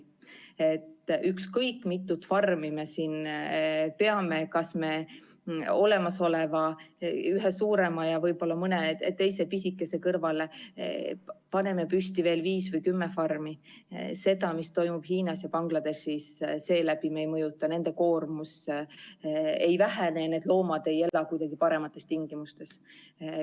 Ükskõik mitut farmi me siin peame, kas me olemasoleva ühe suurema ja võib-olla mõne pisikese kõrvale paneme püsti veel viis või kümme farmi – seda, mis toimub Hiinas ja Bangladeshis, me ei mõjuta, nende koormus ei vähene, need loomad ei ela kuidagi paremates tingimustes.